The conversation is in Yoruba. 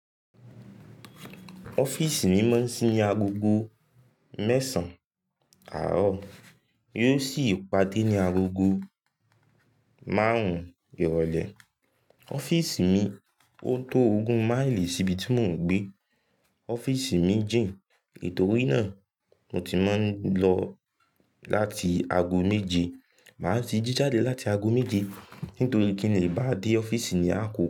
Ọ́fíìsì mi máa ń sí ní agogo mẹ́sàn àárọ̀ yóò sì pàdé ní agogo márùn-ún ìrọ̀lẹ́. Ọ́fíìsì mi o tó ogún máìlì síbi tí mò ń gbé. Ọ́fíìsì mi jìn, nitòrí náà mo ti máa ń lọ láti aago méje. Màá ti jí jáde láti aago méje nítorí kí n lè bá dé ọ́fíìsì ní àkókò.